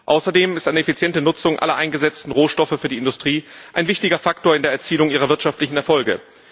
Außerdem ist eine effiziente Nutzung aller eingesetzten Rohstoffe für die Industrie ein wichtiger Faktor in der Erzielung ihrer wirtschaftlichen Erfolge.